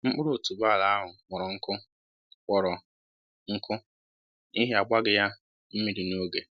Mkpụrụ otuboala ahụ kpọrọ nkụ kpọrọ nkụ n'ihi a gbaghị ya mmiri n'oge